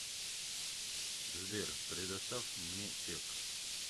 сбер предостав мне чек